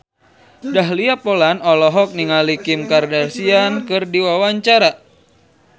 Dahlia Poland olohok ningali Kim Kardashian keur diwawancara